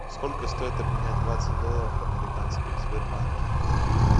сколько стоит обменять двадцать долларов американских в сбербанке